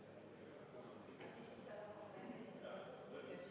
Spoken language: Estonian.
Palun võtta seisukoht ja hääletada!